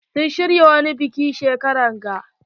Sun shirya wani biki shekarar ga.